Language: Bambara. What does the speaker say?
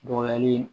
Dɔgɔyali